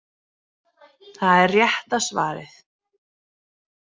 Það er rétta svarið.